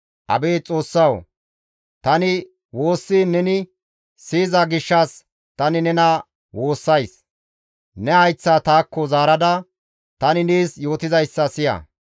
Abeet Xoossawu! Tani woossiin neni siyiza gishshas tani nena woossays; ne hayththa taakko zaarada, tani nees yootizayssa siya.